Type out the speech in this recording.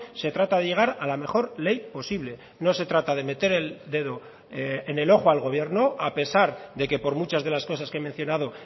se trata de llegar a la mejor ley posible no se trata de meter el dedo en el ojo al gobierno a pesar de que por muchas de las cosas que he mencionado